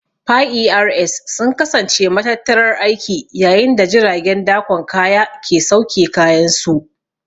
Piers sun kasance matattarar aiki yayin da jiragen dakon kaya ke sauke kayansu.